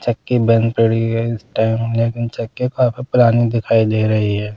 चक्की बंद पड़ी है इस टाइम लेकिन चक्की काफी पुरानी दिखाई दे रही है।